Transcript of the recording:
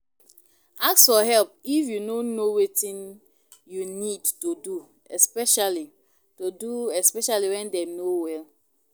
Ask for help if you no know wetin you need to do especially to do especially when dem no well